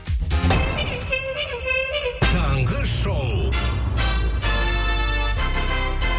таңғы шоу